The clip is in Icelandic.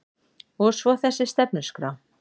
Og svo þessi stefnuskrá